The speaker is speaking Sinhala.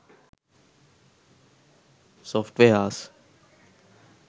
softwares